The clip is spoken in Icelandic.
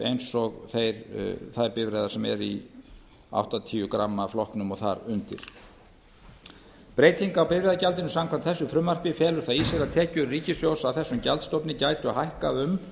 eins og þær bifreiðar sem eru í áttatíu gramma flokknum og þar undir breyting á bifreiðagjaldinu samkvæmt þessu frumvarpi felur það í sér að tekjur ríkissjóðs af þeim gjaldstofni gætu hækkað um